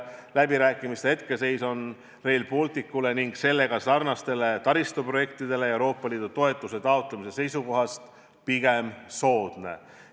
Läbirääkimiste hetkeseis on Rail Balticule ning sellega sarnastele taristuprojektidele Euroopa Liidu toetuse taotlemise seisukohast pigem soodne.